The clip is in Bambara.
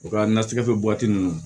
U ka nasɛgɛ ninnu